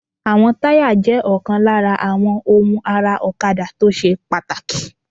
Àwọn táyà jẹ́ ọ̀kan lára àwọn ohun ara ọ̀kadà tó ṣe pàtàkì